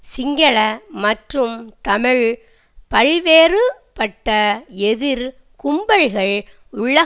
சிங்கள மற்றும் தமிழ் பல்வேறுபட்ட எதிர் கும்பல்கள் உலகம்